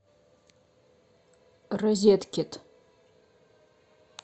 розеткед